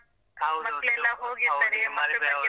.